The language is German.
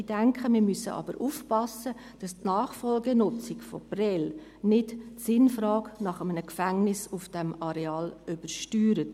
Ich denke, wir müssen aber aufpassen, dass die Nachfolgenutzung von Prêles nicht die Sinnfrage nach einem Gefängnis auf diesem Areal übersteuert.